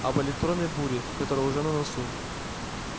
об электронной буре которая уже на носу